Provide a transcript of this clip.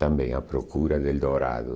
Também à procura do dourado.